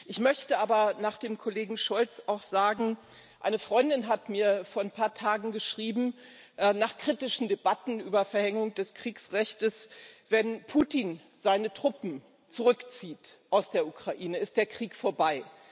Ich möchte aber nach dem Kollegen Scholz auch sagen Eine Freundin hat mir vor ein paar Tagen geschrieben, nach kritischen Debatten über die Verhängung des Kriegsrechts Wenn Putin seine Truppen aus der Ukraine zurückzieht, ist der Krieg vorbei.